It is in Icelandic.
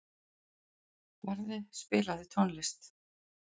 Barði, spilaðu tónlist.